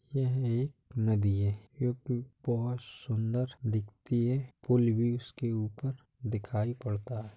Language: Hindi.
यह एक नदी है | बहोत सुन्दर दिखती है। पुल भी उसके ऊपर दिखाई पड़ता है।